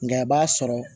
Nga a b'a sɔrɔ